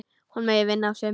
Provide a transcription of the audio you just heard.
Hún megi vinna á sumrin.